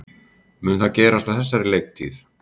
Mun það gerast á þessari leiktíð?